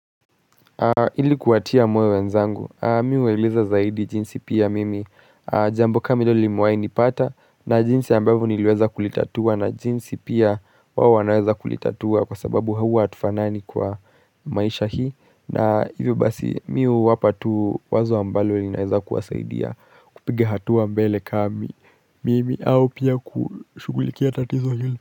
Ili kuwatia moyo wenzangu, mi huwaeleza zaidi jinsi pia mimi jambo kama hilo limewai nipata na jinsi ambavyo niliweza kulitatua na jinsi pia wawo wanaweza kulitatua kwa sababu huwa hatufanani kwa maisha hii na hivyo basi mi huwapa tu wazo ambalo linaweza kuwasaidia kupiga hatua mbele kami mimi au pia kushugulikia tatizo hili.